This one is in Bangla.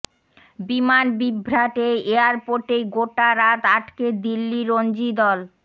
বিমান বিভ্রাটে এয়ারপোর্টেই গোটা রাত আটকে দিল্লি রঞ্জি দল